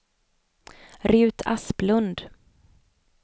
Rut Asplund